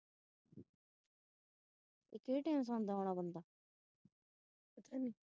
ਇਹ ਕਿਹੜੇ ਟਾਈਮ ਸੌਦਾ ਬੰਦਾ ।